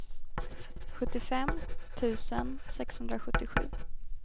sjuttiofem tusen sexhundrasjuttiosju